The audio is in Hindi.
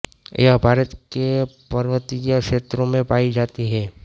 यह भारत के पर्वतीय क्षेत्रों में पायी जाती है